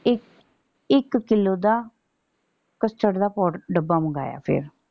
ਇਕ ਇਕ ਕਿੱਲੋ ਦਾ custard ਦਾ ਪਾਊਡਰ ਡੱਬਾ ਮੰਗਾਇਆ ਫੇਰ।